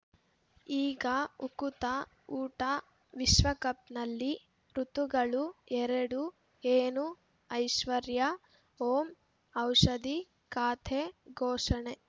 ಈಗ ಉಕುತ ಊಟ ವಿಶ್ವಕಪ್‌ನಲ್ಲಿ ಋತುಗಳು ಎರಡು ಏನು ಐಶ್ವರ್ಯಾ ಓಂ ಔಷಧಿ ಖಾತೆ ಘೋಷಣೆ